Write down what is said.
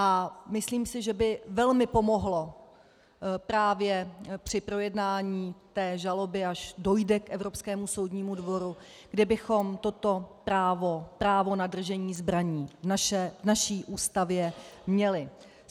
A myslím si, že by velmi pomohlo právě při projednání té žaloby, až dojde k Evropskému soudnímu dvoru, kdybychom toto právo na držení zbraní v naší Ústavě měli.